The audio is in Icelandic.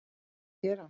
Mikið að gera?